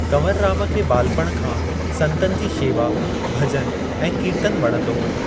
कंवरराम खे ॿालपण खां संतनि जी शेवा, भज॒नु ऐं कीर्तन वणंदो हो।